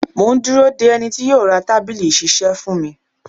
Mò ń dúró de ẹni tí yó ra tábìlì ìṣisẹ́ fún mi.